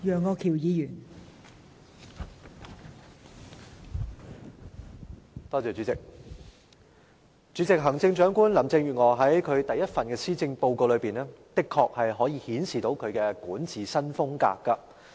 代理主席，行政長官林鄭月娥在其第一份施政報告的確可以顯示她的管治新風格。